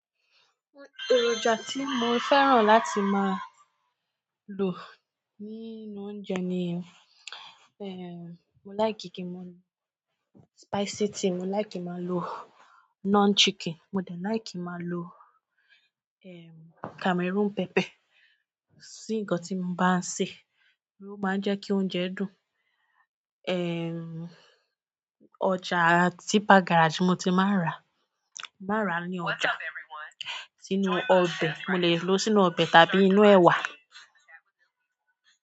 Èròjà tí mo fẹ́ràn láti máa lo nínú oúnjẹ ni, eh, mo láì kí kí mọ lo spicy tíì, mo láì kí máa lo non chicken, mo dẹ láì kí máa lo, ehm, Cameroon pepper sí nkán tí mo bá ń se, ló má n jẹ́ kí oúnjẹ dùn. Ehm, ọjà tipper Garage mo ti máa ń ra, màá ra ní ọjà. Sínú ọbẹ̀, mo lè lò ó sínú ọbẹ̀ tàbí inú ẹwà.